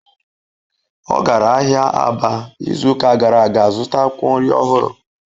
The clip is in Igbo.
Ọ gara ahịa Aba izuụka gara aga zụta akwụkwọ nri ọhụrụ